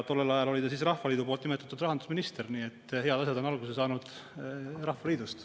Tollel ajal oli ta Rahvaliidu nimetatud rahandusminister, nii et head asjad on alguse saanud Rahvaliidust.